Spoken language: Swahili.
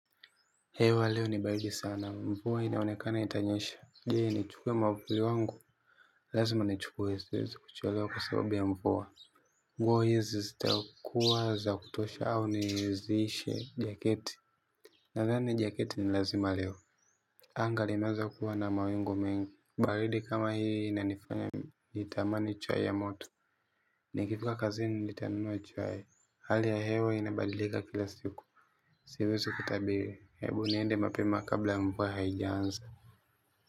Hewa leo ni baridi sana mvua inaonekana itanyesha. Je nichukuwe mwavuli wangu. Lazima nichukuwe siwezi kuchelewa kwa sababu ya mvua. Nguo hizi zitakuwa za kutosha au niizishe jaketi. Nadhani jaketi ni lazima leo. Anga limeanza kuwa na mawingu mengi. Baridi kama hii inanifanya nitamani chai ya moto. Nikifika kazini nitanunua chai. Hali ya hewa inabadilika kila siku. Siwezi kutabiri. Hebu niende mapema kabla ya mvua haijaanza.